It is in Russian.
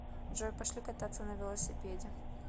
джой пошли кататься на велосипеде